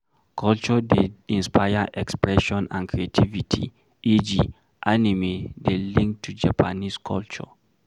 Culture dey inspire expression and creativity eg, Animie dey linked to Japanese culture